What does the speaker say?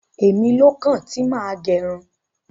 Èmilókàn tí mà á gẹ irun.